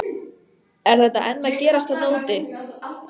Er þetta enn að gerast þarna úti?